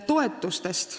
Toetustest.